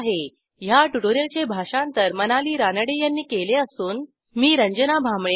ह्या ट्युटोरियलचे भाषांतर मनाली रानडे यांनी केले असून मी आपला निरोप घेते160